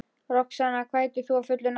Roxanna, hvað heitir þú fullu nafni?